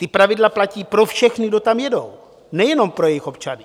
Ta pravidla platí pro všechny, kdo tam jedou, nejenom pro jejich občany.